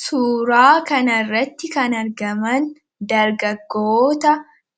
Suuraa kana irratti kan argaman dargaggoota